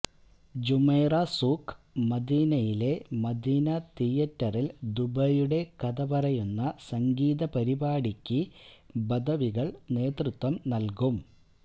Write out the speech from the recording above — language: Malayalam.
ജുമൈറ സൂഖ് മദിനയിലെ മദീന തിയറ്ററില് ദുബൈയുടെ കഥപറയുന്ന സംഗീത പരിപാടിക്ക് ബദവികള് നേതൃത്വം നല്കും